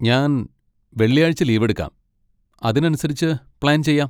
ഞാൻ വെള്ളിയാഴ്ച ലീവെടുക്കാം, അതിനനുസരിച്ച് പ്ലാൻ ചെയ്യാം.